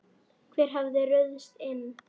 Hver hafði ruðst inn?